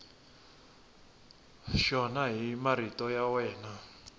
xona hi marito ya wena